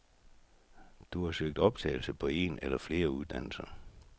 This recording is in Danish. Du har søgt optagelse på en eller flere uddannelser.